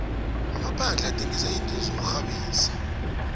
amaphandle athhengisa izinto zokuxhabisa